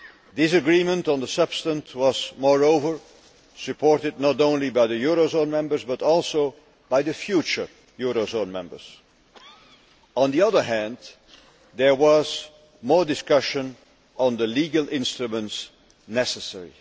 This agreement on the substance was moreover supported not only by the eurozone members but also by the future eurozone members. On the other hand, there was more discussion on the legal instruments necessary.